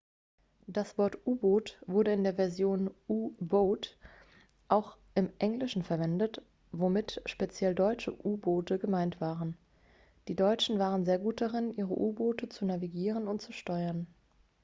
das wort u-boot wurde in der version u-boat auch im englischen verwendet womit speziell deutsche u-boote gemeint waren die deutschen waren sehr gut darin ihre u-boote zu navigieren und zu steuern